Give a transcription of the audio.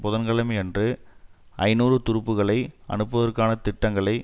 புதன் கிழமை அன்று ஐநூறு துருப்புக்களை அனுப்புவதற்கான திட்டங்களை